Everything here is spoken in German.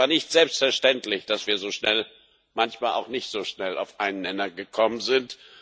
Es war nicht selbstverständlich, dass wir so schnell manchmal auch nicht so schnell auf einen Nenner gekommen sind.